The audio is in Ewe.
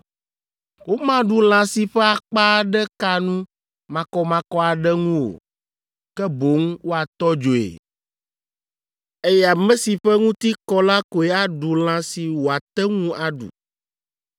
“ ‘Womaɖu lã si ƒe akpa aɖe ka nu makɔmakɔ aɖe ŋu o, ke boŋ woatɔ dzoe, eye ame si ƒe ŋuti kɔ la koe aɖu lã si wòate ŋu aɖu.